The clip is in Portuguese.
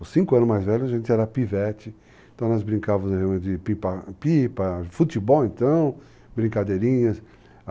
Os cinco anos mais velhos a gente era pivete, então nós brincavamos de pipa, futebol então, brincadeirinhas.